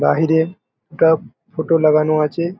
বাহিরে একটা ফটো লাগানো আছে।